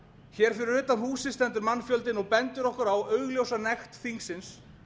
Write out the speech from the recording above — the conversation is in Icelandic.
hér fyrir utan húsið stendur mannfjöldinn og bendir okkur á augljósa nekt þingsins